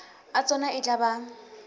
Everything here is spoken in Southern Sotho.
a tsona e tla ba